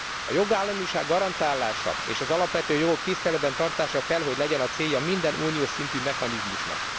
A jogállamiság garantálása és az alapvető jogok tiszteletben tartása kell hogy legyen a célja minden unós szintű mechanizmusnak.